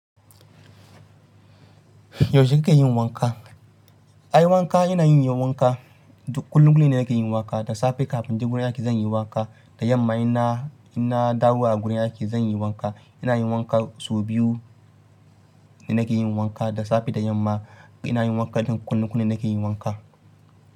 Yaushe kikan yi wanka? Ai wanka ina yin wanka kullum kullum ne nake yin wanka. Da safe kafin in je gurin aiki zan yi wanka, da yamma ina, ina dawowa gurin aiki zan yi wanka. Ina yin wanka sau biyu nake yin wanka. Da safe da yamma ina yin wanka don kullum kullum nake yin wanka.